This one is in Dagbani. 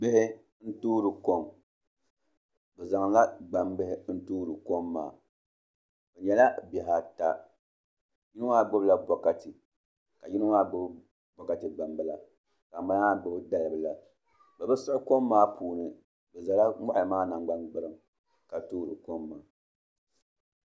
Bihi n toori kom bi zaŋla gbambihi n toori kom maa bi nyɛla bihi ata yino maa gbubila bokati ka yino maa gbubi bokati gbambila ka ŋunbala maa gbubi dalibila bi bi siɣi kom maa puuni bi ʒɛla moɣali maa nangbani gburiŋ ka toori kom maa